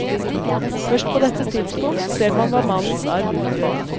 Først på dette tidspunkt ser man hva mannens arv utgjør.